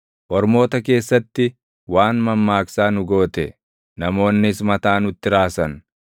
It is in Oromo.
Ormoota keessatti waan mammaaksaa nu goote; namoonnis mataa nutti raasan.